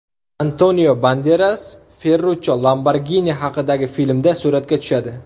Antonio Banderas Ferruchcho Lamborgini haqidagi filmda suratga tushadi.